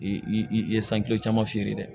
I i ye caman feere dɛ